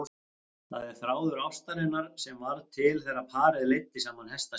Það er þráður ástarinnar sem varð til þegar parið leiddi saman hesta sína.